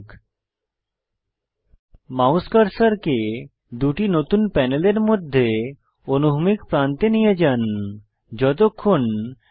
double headed arrow প্রদর্শিত হওয়া পর্যন্ত আপনার মাউস কার্সারকে দুটি নতুন প্যানেলের মধ্যে অনুভূমিক প্রান্তে নিয়ে যান